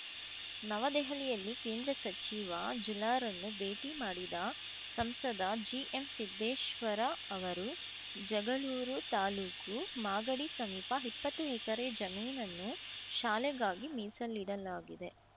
ನವದೆಹಲಿಯಲ್ಲಿ ಕೇಂದ್ರ ಸಚಿವ ಜುಲಾರನ್ನು ಭೇಟಿ ಮಾಡಿದ ಸಂಸದ ಜಿಎಂಸಿದ್ದೇಶ್ವರ ಅವರು ಜಗಳೂರು ತಾಲೂಕು ಮಾಗಡಿ ಸಮೀಪ ಇಪ್ಪತ್ತು ಎಕರೆ ಜಮೀನನ್ನು ಶಾಲೆಗಾಗಿ ಮೀಸಲಿಡಲಾಗಿದೆ